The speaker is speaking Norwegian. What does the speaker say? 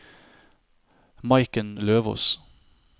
Maiken Løvås